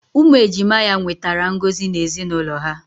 Umu ejima ya nwetara ngozi na ezinaulo ha.